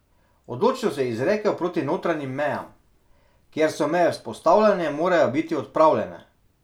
Odločno se je izrekel proti notranjim mejam: "Kjer so meje vzpostavljene, morajo biti odpravljene.